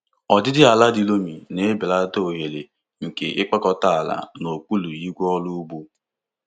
Ọdịdị ala di loamy na-ebelata ohere nke ịkpakọta ala n'okpuru igwe ọrụ ugbo.